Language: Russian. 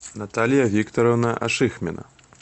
наталья викторовна ашихмина